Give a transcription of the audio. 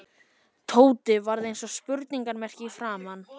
Tóti varð eins og spurningarmerki í framan.